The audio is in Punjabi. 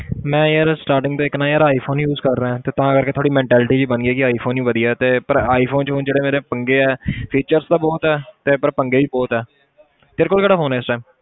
ਮੈਂ ਯਾਰ starting ਤੋਂ ਇੱਕ ਨਾ ਯਾਰ iphone use ਕਰ ਰਿਹਾਂ ਤੇ ਤਾਂ ਕਰਕੇ ਥੋੜ੍ਹੀ mentality ਜਿਹੀ ਬਣ ਗਈ ਕਿ iphone ਹੀ ਵਧੀਆ ਤੇ ਪਰ iphone 'ਚ ਹੁਣ ਜਿਹੜੇ ਮੇਰੇ ਪੰਗੇ ਹੈ features ਤਾਂ ਬਹੁਤ ਹੈ ਤੇ ਪਰ ਪੰਗੇ ਵੀ ਬਹੁਤ ਹੈ ਤੇਰੇ ਕੋਲ ਕਿਹੜਾ phone ਹੈ ਇਸ time